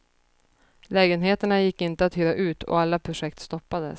Lägenheterna gick inte att hyra ut och alla projekt stoppades.